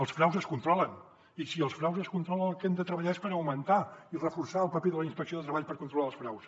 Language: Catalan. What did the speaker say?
els fraus es controlen i si els fraus es controlen el que hem de treballar és per augmentar i reforçar el paper de la inspecció de treball per controlar els fraus